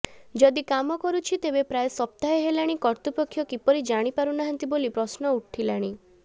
ଯଦି କାମ କରୁଛି ତେବେ ପ୍ରାୟ ସପ୍ତାହେ ହେଲାଣି କର୍ତ୍ତୃପକ୍ଷ କିପରି ଜାଣିପାରୁନାହାନ୍ତି ବୋଲି ପ୍ରଶ୍ନ ଉଠିଲାଣି